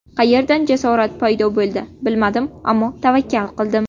Qayerdan jasorat paydo bo‘ldi bilmadim, ammo tavakkal qildim.